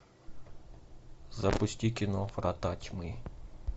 запусти кино врата тьмы